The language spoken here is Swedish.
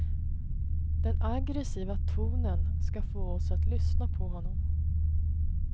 Den aggressiva tonen ska få oss att lyssna på honom.